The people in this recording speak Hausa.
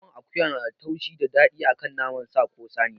Naman akuya nada taushi da daɗi akan naman sa ko saniya